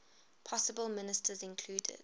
possible ministers included